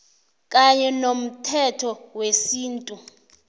kanye nomthetho wesintu